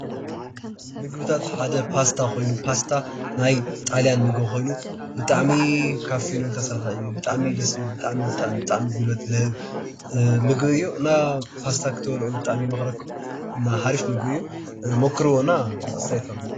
ምግብታት ሓደ ፓሰታ ኮይኑ ፓስታ ናይ ጣልያኒ ምግብ ኮይኑ ብጣዕሚ ካብ ፍኖ ዝተሰረሕ እዩ። ብጣዕሚ እዩ ደስ ዝበል ብጣዕሚ ጉልበት ዝህብ ምግብ እዩ። እና ፓስታ ክትበሉዑ ብጣዕሚ እየ ዝመኽረኩም እና ሓርፍ ምግቢ እዩ። መከሩዎ እና ኣስታያየት ሃቡኒ።